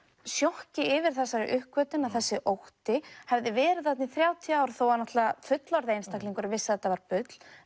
sjokki yfir þessari uppgötvun að þessi ótti hefði verið þarna í þrjátíu ár þó að náttúrulega fullorðni einstaklingurinn vissi að þetta var bull